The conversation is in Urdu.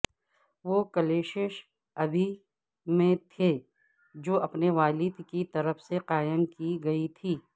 وہ کلیشش ابی میں تھے جو اپنے والد کی طرف سے قائم کی گئی تھی